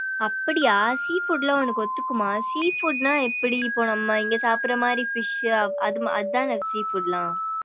அப்படியா sea food லாம் உனக்கு ஒத்துக்கும்மா sea food னா எப்படி இப்போ நம்ம இங்க சாப்படற மாரி fish அது மாறி அதானே sea foods லாம்.